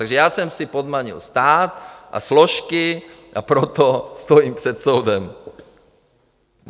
Takže já jsem si podmanil stát a složky, a proto stojím před soudem.